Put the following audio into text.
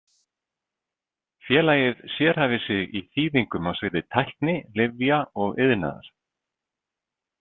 Félagið sérhæfir sig í þýðingum á sviði tækni, lyfja og iðnaðar.